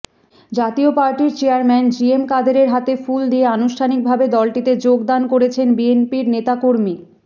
জাতীয় পার্টির chairman GM কাদেরের হাতে ফুল দিয়ে আনুষ্ঠানিকভাবে দলটিতে যোগদান করেছেন বিএনপির নেতাকর্মী